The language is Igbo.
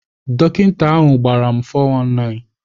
Dọkịta ahụ gbara m 419.